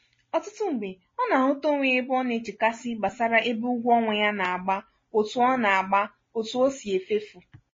ọtụtụ mgbe ọ na-ahụta onwe ya ebe ọ na-echekasị gbasara ebe ụgwọ ọnwa ya na-agba otu o na-agba otu o sị efefu.